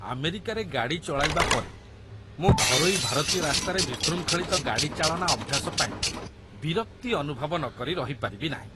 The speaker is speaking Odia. ଆମେରିକାରେ ଗାଡ଼ି ଚଳାଇବା ପରେ, ମୁଁ ଘରୋଇ ଭାରତୀୟ ରାସ୍ତାରେ ବିଶୃଙ୍ଖଳିତ ଗାଡ଼ି ଚାଳନା ଅଭ୍ୟାସ ପାଇଁ ବିରକ୍ତି ଅନୁଭବ ନକରି ରହିପାରିବି ନାହିଁ।